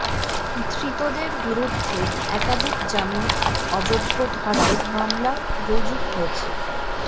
ধৃতদের বিরুদ্ধে একাধিক জামিন অযোগ্য ধারায় মামলা রুজু হয়েছে